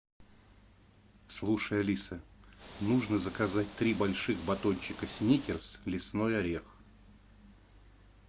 слушай алиса нужно заказать три больших батончика сникерс лесной орех